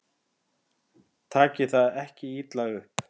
Takið það ekki illa upp.